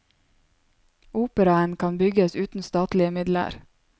Operaen kan bygges uten statlige midler.